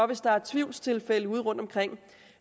hvis der er tvivlstilfælde rundtomkring